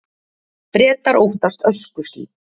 Bretar óttast öskuský